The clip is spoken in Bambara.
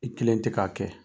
I kelen tɛ k'a kɛ.